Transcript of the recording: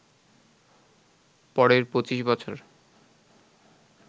পরের ২৫ বছর